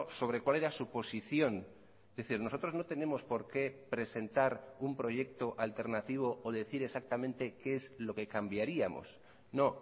sobre cuál era su posición es decir nosotros no tenemos por qué presentar un proyecto alternativo o decir exactamente qué es lo que cambiaríamos no